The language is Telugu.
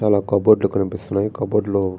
చాలా కబోర్డు లు కనిపిస్తున్నాయి కబోర్డు లో --